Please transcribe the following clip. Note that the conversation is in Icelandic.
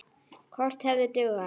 Kort hefði dugað.